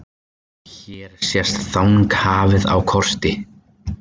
Hér sést Þanghafið á korti.